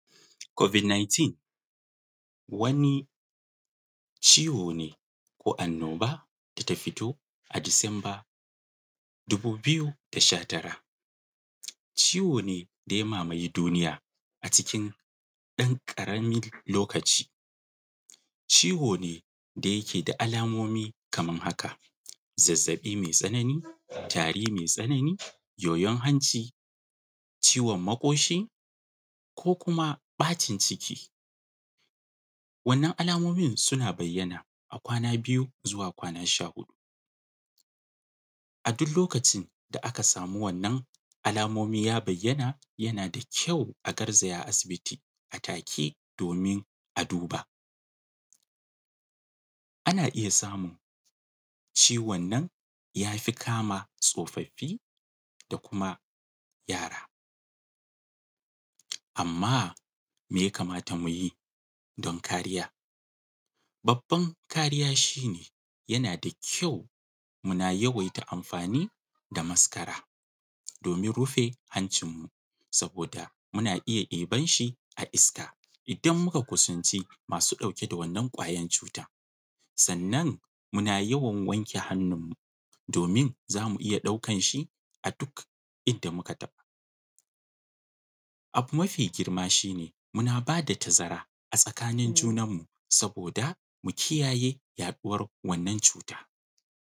Covid 19 wani ciwo ne ko annoba da ta fito a Disamba dubu biyu da sha tara (2019). Ciwo ne da ya mamayi duniya a cikin ɗan ƙaramin lokaci. Ciwo ne da yake da alamomi kaman haka: Zazzaɓi mai tsanani; tari mai tsanani; yoyon hanci; ciwon maƙoshi; ko kuma ɓacin ciki. Wannan alamomin suna bayyana a kwana biyu zuwa kwana sha huɗu. A duk lokacin da aka samu wannan alamomi ya bayyana, yana da kyau a garzaya asibiti a take domin a duba. Ana iya samu ciwon nan ya fi kama tsofaffi, da kuma yara. Amma, me ya kamata mu yi don kariya? Babban kariya shi ne, yana da kyau muna yawaita amfani da maskara domin rufe hancinmu saboda muna iya ɗibar shi a iska idan muka kusanci masu ɗauke da wannan ƙwayar cuta, sannan muna yawan wanke hannu domin za mu iya ɗaukar shi a duk inda muka taɓa. Abu ma fi girma shi ne, muna ba da tazara a tsakanin junan mu saboda mu kiyaye yaɗuwar wannan cuta.